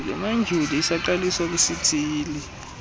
modyuli isaqaliswa kwisithili